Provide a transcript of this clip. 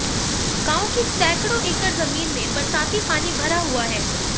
गांव की सैंकड़ो एकड़ जमीन में बरसाती पानी भरा हुआ है